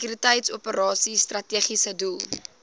sekuriteitsoperasies strategiese doel